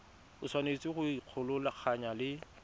o tshwanetse go ikgolaganya le